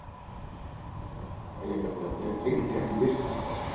Ólíkt Snæfellsjökli og Eyjafjallajökli, er Keilir því ekki virkt eldfjall.